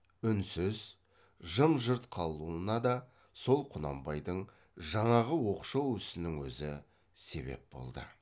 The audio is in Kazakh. үнсіз жым жырт қалуына да сол құнанбайдың жаңағы оқшау ісінің өзі себеп болды